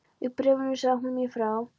Í bréfunum sagði hún mér frá